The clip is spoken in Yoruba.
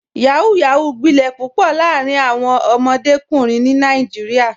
Yahoo yahoo gbilẹ̀ pupọ̀ laarin awọn ọdọmọkunrin ni Nàìjíríà.